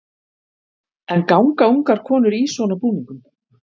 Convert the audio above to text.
En ganga ungar konur í svona búningum?